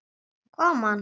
Kom hann?